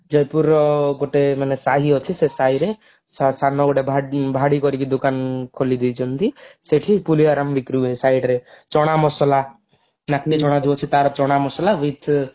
ଜୟପୁରର ଗୋଟେ ମାନେ ସାହି ଅଛି ସେ ସାହି ରେ ସାନ ଗୋଟେ ଭାଡି କରିକି ଦୋକାନ ଖୋଲିଦେଇଛନ୍ତି ସେଇଠି ପୁଳିଆରମ ବିକ୍ରି ହୁଏ ସାଇଡରେ ଚଣା ମସଲା ଚଣା ଜଉ ଅଛି ତାର ଚଣା ମସଲା with